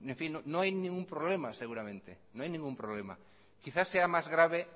no hay ningún problema seguramente no hay ningún problema quizá seamás grave